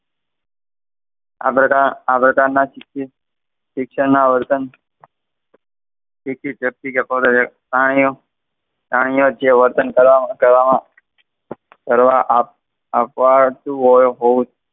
આ પ્રકાર આ પ્રકારના શિક્ષણના વર્તન વર્તન કરવામાં કરવામાં .